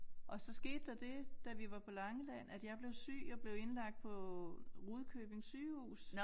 Og så skete der det da vi var på Langeland at jeg blev syg og blev indlagt på Rudkøbing Sygehus